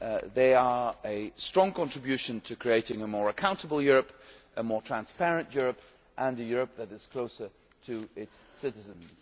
They are making a strong contribution to creating a more accountable Europe, a more transparent Europe and a Europe that is closer to its citizens.